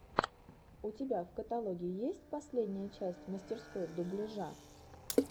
у тебя в каталоге есть последняя часть мастерской дубляжа